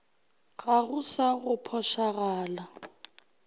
ga go sa go phošagala